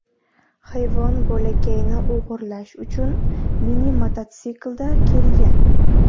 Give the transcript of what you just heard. Hayvon bolakayni o‘g‘irlash uchun mini-mototsiklda kelgan.